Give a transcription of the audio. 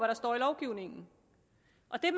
der står i lovgivningen